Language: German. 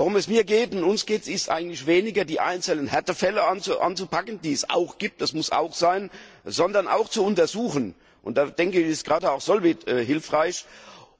Worum es mir und uns geht, ist eigentlich weniger, die einzelnen Härtefälle anzupacken, die es auch gibt, das muss auch sein, sondern zu untersuchen und da ist gerade auch Solvit hilfreich